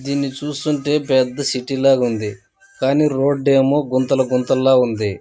దీన్నిచూస్తుంటే పెద్ద సిటీ లాగా ఉంది. కానీ రోడ్ ఏమో గుంతలు గుంతలాగా ఉంది.